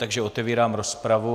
Takže otevírám rozpravu.